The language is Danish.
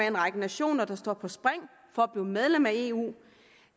en række nationer der står på spring for at blive medlem af eu